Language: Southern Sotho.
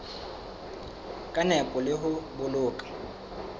ka nepo le ho boloka